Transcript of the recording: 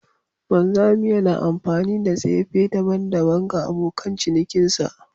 Wanzami yana amfani da tsefe daban-daban ga abokan cinikinsa